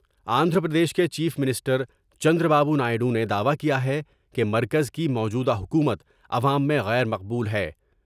آندھرا پردیش کے chief minister Chandra Babu Naidu نے دعوی کیا ہے کہ مرکز کی موجودہ حکومت عوام میں غیر مقبول ہے ۔